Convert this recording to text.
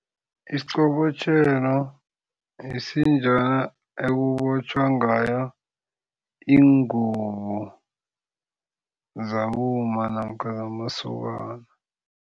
Isiqobotjhelo yisinjana ekubotjhwa ngayo iingubo zabomma namkha zamasokana.